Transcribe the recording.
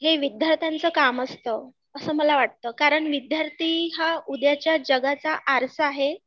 हे विद्यार्थ्यांच काम असतं असं मला वाटतं कारण विद्यार्थी हा उद्याच्या जगाचा आरसा आहे